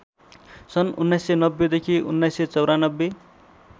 सन् १९९० देखि १९९४